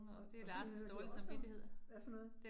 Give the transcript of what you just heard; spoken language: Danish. Og og så hører det også om, hvad for noget?